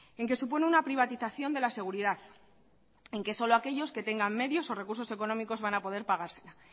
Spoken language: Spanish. en que supone una privatización de la seguridad en que solo aquellos que tengan medios o recursos económicos van a poder pagársela